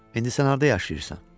İndi sən harda yaşayırsan?